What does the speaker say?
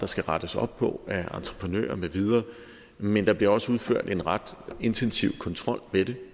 skal rettes op på af entreprenører med videre men der bliver også udført en ret intensiv kontrol med det